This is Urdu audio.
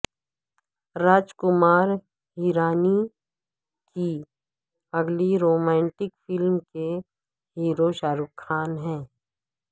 راجکمار ہیرانی کی اگلی رومانٹک فلم کے ہیرو شاہ رخ خان